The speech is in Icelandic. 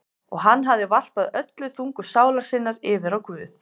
Og hann hafði varpað öllum þunga sálar sinnar yfir á Guð.